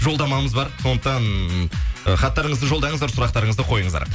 жолдамамыз бар сондықтан і хаттарыңызды жолдаңыздар сұрақтарыңызды қойыңыздар